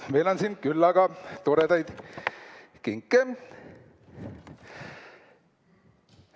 Meil on siin küllaga toredaid kinke.